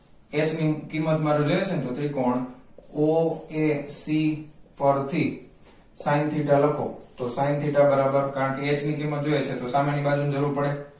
x ની કિંમત માં લેલેશુ ને તું ત્રિકોણ o a c પરથી sin theta લખો તો sin theta બરાબર કારણ કે h ની કિંમત જોઈએ છે તો સામેની બાજુની જરૂર પડે